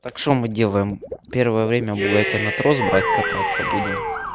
так что мы делаем первое время бугатти на трос брать кататься будем